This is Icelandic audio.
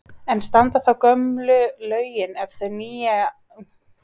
En standa þá gömlu lögin ef þau nýju verða felld?